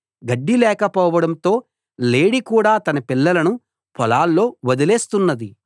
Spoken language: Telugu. గడ్డి లేకపోవడంతో లేడి కూడా తన పిల్లలను పొలాల్లో వదిలేస్తున్నది